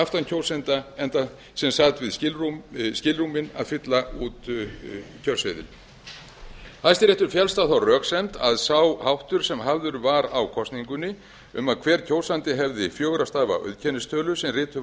aftan kjósanda sem stæði við skilrúmin að fylla út kjörseðil hæstaréttar féllst á þá röksemd að sá háttur sem hafður var á kosningunni um að hver kjósandi hefði fjögurra stafa auðkennistölu sem rituð